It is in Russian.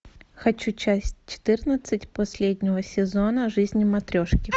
хочу часть четырнадцать последнего сезона жизни матрешки